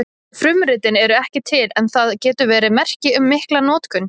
Frumritin eru ekki til en það getur verið merki um mikla notkun.